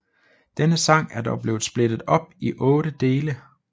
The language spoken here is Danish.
Denne sang er dog blevet splittet op i otte dele